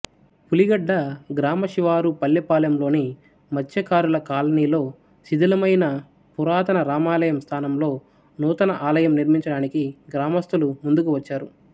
పులిగడ్డ గ్రామశివారు పల్లెపాలెంలోని మత్స్యకారుల కాలనీలో శిథిలమైన పురాతన రామాలయం స్థానంలో నూతన ఆలయం నిర్మించడానికి గ్రామస్థులు ముందుకు వచ్చారు